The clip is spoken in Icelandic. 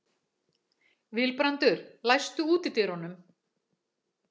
Vilbrandur, læstu útidyrunum.